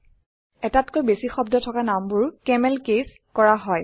এটাতকৈ বেছি শব্দ থকা নামবোৰ কেমেলকেছ কৰা হয়